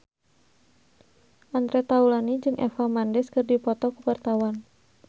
Andre Taulany jeung Eva Mendes keur dipoto ku wartawan